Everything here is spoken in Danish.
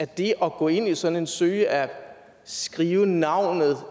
det at gå ind i sådan en søgeapp skrive navnet